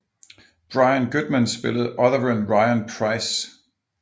Brian Goodman spillede Otheren Ryan Pryce